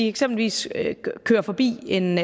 eksempelvis kører forbi en